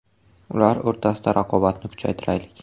Ular o‘rtasida raqobatni kuchaytiraylik.